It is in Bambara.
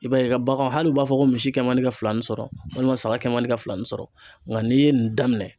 I b'a ye ka baganw hal'u b'a fɔ ko misi kɛ man di ka filani sɔrɔ walima saga kɛ man di ka fila ni sɔrɔ nga n'i ye nin daminɛ